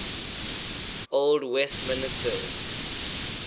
old westminsters